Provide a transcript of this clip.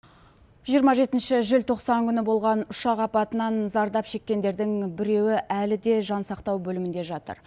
жиырма жетінші желтоқсан күні болған ұшақ апатынан зардап шеккендердің біреуі әлі де жансақтау бөлімінде жатыр